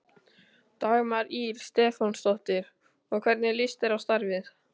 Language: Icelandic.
Dagmar Ýr Stefánsdóttir: Og hvernig líst þér á starfið?